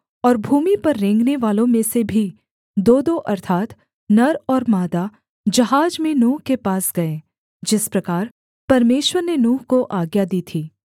और भूमि पर रेंगनेवालों में से भी दोदो अर्थात् नर और मादा जहाज में नूह के पास गए जिस प्रकार परमेश्वर ने नूह को आज्ञा दी थी